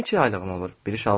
Mənim iki yaylığım olur.